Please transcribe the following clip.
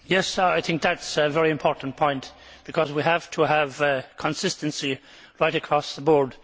Yes, I think that is a very important point, because we have to have consistency right across the board.